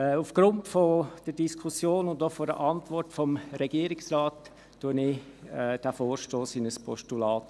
Aufgrund der Diskussion und auch der Regierungsantwort wandle ich diesen Vorstoss in ein Postulat.